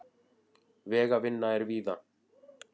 Vegavinna er víða